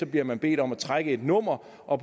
bliver man bedt om at trække et nummer og